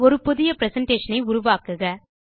ஒரு புதிய பிரசன்டேஷன் ஐ உருவாக்குக